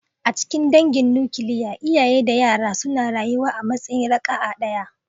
A cikin dangin nukiliya, iyaye da yara suna rayuwa a matsayin raka'a ɗaya.